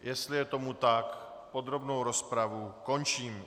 Jestli je tomu tak, podrobnou rozpravu končím.